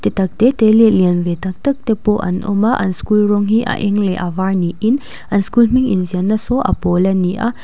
te tak te te leh lian ve tak tak te pawh an awm a an school rawng hi a eng leh a var niin an school hming in ziah na saw a pawl a ni a.